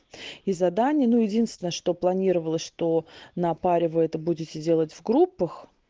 и задание ну единственное что планировалось что на паре вы это будете делать в группах